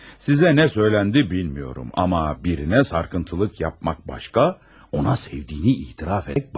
Sizə nə söyləndi bilmirəm, amma birinə sarkıntılık yapmaq başqa, ona sevdiyini etiraf etmək başqa.